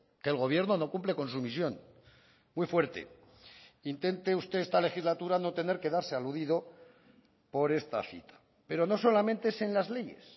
que el gobierno no cumple con su misión muy fuerte intente usted esta legislatura no tener que darse aludido por esta cita pero no solamente es en las leyes